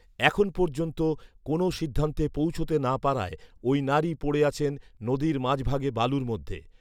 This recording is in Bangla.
এখন পর্যন্ত কোনো সিদ্ধান্তে পৌঁছাতে না পারায় ওই নারী পড়ে আছেন নদীর মাঝভাগে বালুর মধ্যে